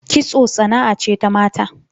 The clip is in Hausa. Kitso sana'a ce ta mata